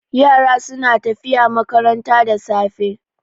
Yara suna tafiya makaranta da safe.